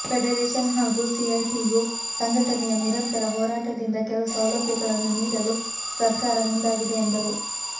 federation ಹಾಗೂ CITU ಸಂಘಟನೆಯ ನಿರಂತರ ಹೋರಾಟದಿಂದ ಕೆಲ ಸೌಲಭ್ಯಗಳನ್ನು ನೀಡಲು ಸರ್ಕಾರ ಮುಂದಾಗಿದೆ ಎಂದರು